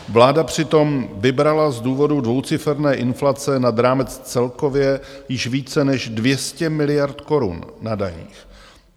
Vláda přitom vybrala z důvodu dvouciferné inflace nad rámec celkově již více než 200 miliard korun na daních.